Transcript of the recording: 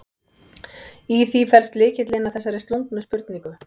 Í því felst lykillinn að þessari slungnu spurningu.